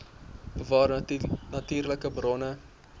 bewaar natuurlike bronne